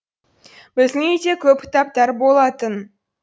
біздің үйде көп кітаптар болатын